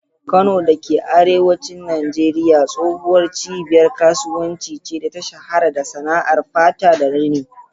Kano da ke arewacin Najeriya tsohuwar cibiyar kasuwanci ce da ta shahara da sana'ar fata da rini.